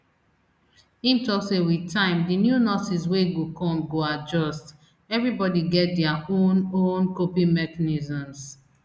im tok say wit time di new nurses wey go come go adjust everibodi get dia own own coping mechanisms